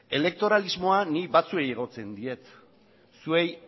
elektoralismoa ni batzuei egotzitzen diet zuei